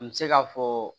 N bɛ se k'a fɔ